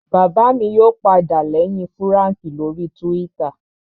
Bàbá mi yóò padà lẹ́yìn Fúràǹkì lórii túwítà